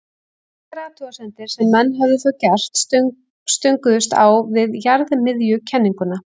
engar athuganir sem menn höfðu þá gert stönguðust á við jarðmiðjukenninguna